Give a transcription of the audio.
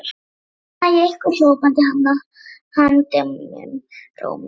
Núna næ ég ykkur hrópaði hann dimmum rómi.